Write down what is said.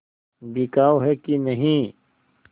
बिकाऊ है कि नहीं